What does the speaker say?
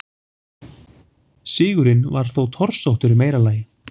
Sigurinn var þó torsóttur í meira lagi.